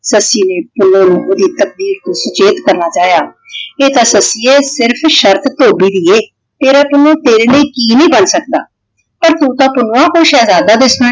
ਸੱਸੀ ਨੇ ਪੁੰਨੂੰ ਨੂੰ ਉਹਦੀ ਤਕਦੀਰ ਤੋਂ ਸੁਚੇਤ ਕਰਨਾ ਚਾਹਿਆ। ਇਹ ਤਾ ਸੱਸੀਏ ਸਿਰਫ ਸ਼ਰਤ ਧੋਬੀ ਦੀ ਏ ਤੇਰਾ ਪੁੰਨੂੰ ਤੇਰੇ ਲਈ ਕਿ ਨਹੀਂ ਕਰ ਸਕਦਾ? ਪਰ ਤੂੰ ਤਾਂ ਪੁੰਨੂੰਆਂ ਕੋਈ ਸ਼ਹਿਜ਼ਾਦਾ ਦਿਸਦਾ ਹੈ।